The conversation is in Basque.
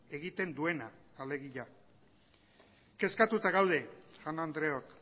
egiten duena alegia kezkatuta gaude jaun andreok